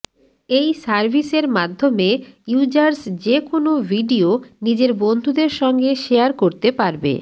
এই সার্ভিসের মাধ্যমে ইউযার্স যেকোন ভিডিও নিজের বন্ধুদের সঙ্গে শেয়ার করতে পারবে